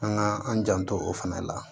An ka an janto o fana la